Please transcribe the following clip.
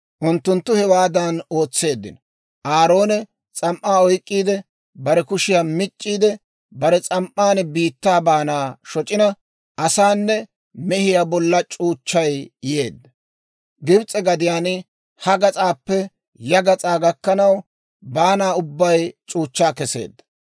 Unttuttu hewaadan ootseeddino; Aaroone s'am"aa oyk'k'iide bare kushiyaa mic'c'iidde; bare s'am"an biittaa baana shoc'ina asaanne, mehiyaa bolla c'uuchchay yeedda. Gibs'e gadiyaan ha gas'aappe ya gas'aa gakkanaw, baana ubbay c'uuchchaa kesseedda.